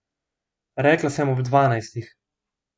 Rekla sem ob dvanajstih.